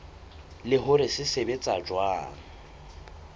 le hore se sebetsa jwang